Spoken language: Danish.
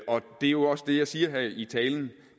er jo også det jeg siger her i talen